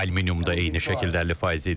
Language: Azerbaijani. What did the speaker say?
Aluminiumda eyni şəkildə 50% idi.